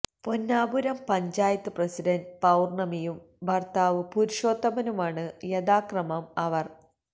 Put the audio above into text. Ponnapuram panchayat president പൌർണമിയും ഭർത്താവ് പുരുഷോത്തമനുമാണ് യഥാക്രമം അവർ